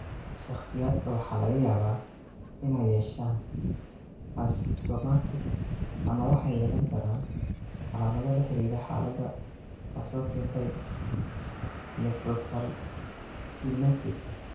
Shakhsiyaadka waxaa laga yaabaa inay yeeshaan asymptomatic ama waxay yeelan karaan calaamado la xiriira xaaladda taasoo keentay nephrocalcinosis.